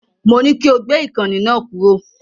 Mo ní kí o gbé ìkànnì náà kúrò.